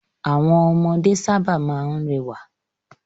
Àwọn ọmọdé sábà máa ń rẹwà.